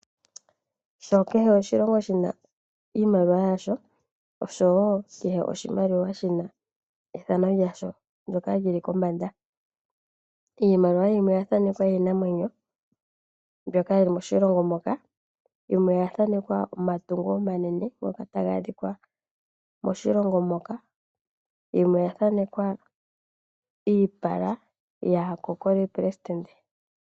Sho kehe oshilongo shi na iimaliwa yasho oshowo kehe oshimaliwa shi na ethano lyasho, ndoka li li kombanda. Iimaliwa yimwe oya thaanekwa iinamwenyo mbyoka yi li moshilongo moka, yimwe oya thaanekwa omatungo omanene ngoka taga adhikwa moshilongo moka. Yimwe oya thanekwa iipala yaakokoli pelesidente.